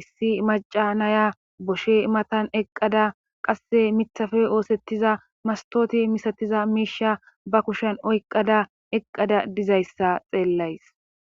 issi maca naya boshe matan eqqada qasse mithafe oosettiza mastooti misatiza miisha ba kushen oyqqada eqqada dizayssa xeellays.